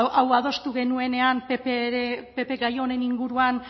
hau adostu genuenean pp gai honen inguruan